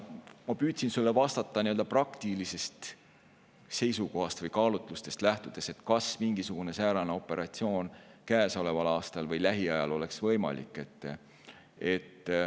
Ma püüdsin enne sulle vastata nii-öelda praktilisest seisukohast või praktilistest kaalutlustest lähtudes, kas mingisugune säärane operatsioon käesoleval aastal või lähiajal oleks võimalik.